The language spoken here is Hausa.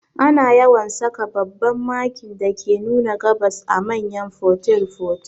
Ana yawan saka babban Makin dake nuna gabas a manyan fotel fotel